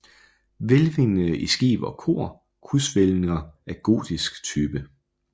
Hvælvingerne i skib og kor krydshvælvinger af gotisk type